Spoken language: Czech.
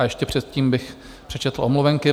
A ještě předtím bych přečetl omluvenky.